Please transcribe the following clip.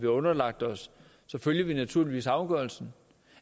underlagt os så følger vi naturligvis afgørelsen